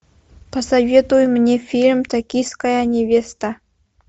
посоветуй мне фильм токийская невеста